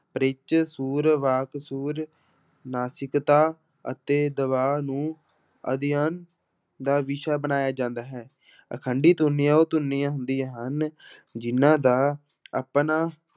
pitch ਸੁਰ, ਵਾਕ ਸੁਰ, ਨਾਸਿਕਤਾ ਅਤੇ ਦਬਾ ਨੂੰ ਅਧਿਐਨ ਦਾ ਵਿਸ਼ਾ ਬਣਾਇਆ ਜਾਂਦਾ ਹੈ ਅਖੰਡੀ ਧੁਨੀਆਂ ਉਹ ਧੁਨੀਆਂ ਹੁੰਦੀਆਂ ਹਨ ਜਿਹਨਾਂ ਦਾ ਆਪਣਾ